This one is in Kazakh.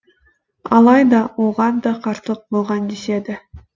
алайда оған да қарсылық болған деседі